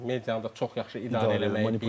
Medianı da çox yaxşı idarə eləməyi bilib.